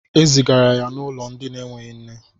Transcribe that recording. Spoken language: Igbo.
Ezigara ya n'ulo ndi n'eweghi nne